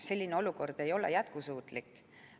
Selline olukord ei ole jätkusuutlik.